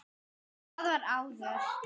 Það var áður.